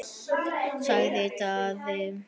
sagði Daði.